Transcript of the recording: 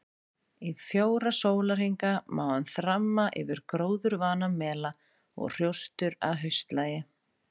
Í fjóra sólarhringa má hann þramma yfir gróðurvana mela og hrjóstur að haustlagi.